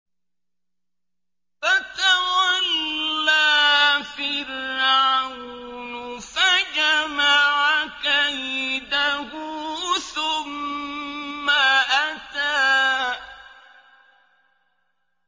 فَتَوَلَّىٰ فِرْعَوْنُ فَجَمَعَ كَيْدَهُ ثُمَّ أَتَىٰ